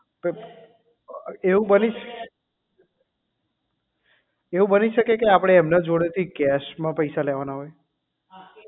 but એવું બની શકે એવું બની શકે કે આપણે એના જોડે થી cash માં પૈસા લેવાના હોય